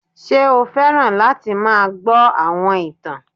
Ṣé o fẹ́ràn láti máa gbọ́ àwọn ìtàn